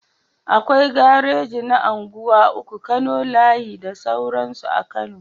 Akwai gareji na unguwa uku, kano layi da sauransu a kano